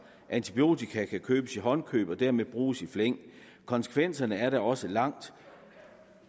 antibiotika kan købes i håndkøb og dermed bruges i flæng konsekvenserne er da også langt